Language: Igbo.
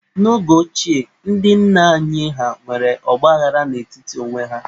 N'oge ochie, ndị nna anyị ha nwere ọgbaaghara n'etiti onwe ha.